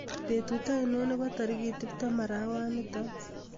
Betut ngiro nebo tarik tuptem arawanito